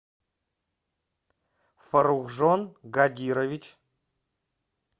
фаррухжон гадирович